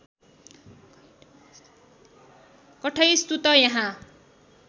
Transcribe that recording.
कठै सुत यहाँ